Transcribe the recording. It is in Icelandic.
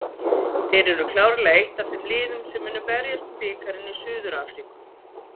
Þeir eru klárlega eitt af þeim liðum sem munu berjast um bikarinn í Suður Afríku